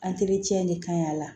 de ka ɲi a la